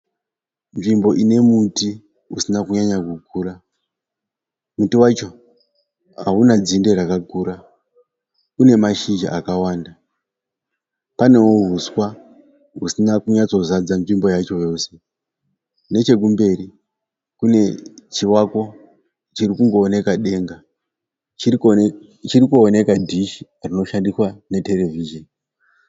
Nzvimbo ine muti usina kunyanya kukura. Muti wacho hauna dzinde rakakura . Une mashizha akawanda . Panewo huswa husina kunyatsozadza nzvimbo yacho yose. Nechekumberi kune chivako chiri kungooneka denga. Chiri kuoneka dhishi rinoshandiswa neterevhizheni.